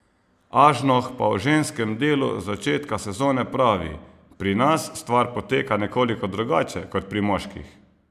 Ažnoh pa o ženskem delu začetka sezone pravi: "Pri nas stvar poteka nekoliko drugače kot pri moških.